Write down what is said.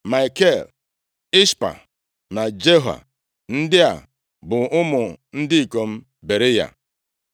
Maikel, Ishpa na Joha, ndị a bụ ụmụ ndị ikom Beriya.